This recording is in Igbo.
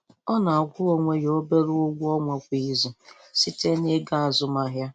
Ọ na-akwụ onwe ya obere ụgwọ ọnwa kwa izu, site na ego azụmaahịa